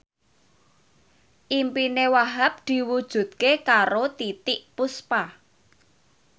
impine Wahhab diwujudke karo Titiek Puspa